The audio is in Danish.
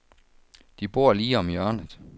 De bor lige om hjørnet.